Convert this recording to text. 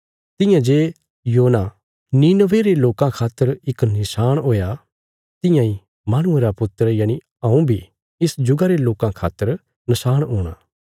तियां जे योना नीनवे रे लोकां खातर इक नशाण हुया तियां इ माहणुये रा पुत्र यनि हऊँ बी इस जुगा रे लोकां खातर नशाण हूणा